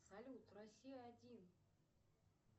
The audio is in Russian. салют россия один